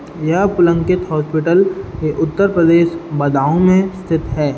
यह पुलंकित हॉस्पिटल उत्तर प्रदेश बदाऊं में स्थित है।